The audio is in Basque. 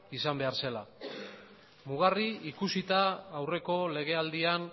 izan behar zela mugarri ikusita aurreko legealdian